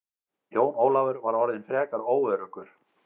Jón Ólafur var orðinn frekar óöruggur.